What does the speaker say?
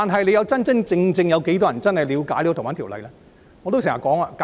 然而，究竟有多少人真正了解《逃犯條例》的修訂？